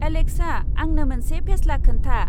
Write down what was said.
Alexa आंनो मोनसे फेस्ला खोन्था।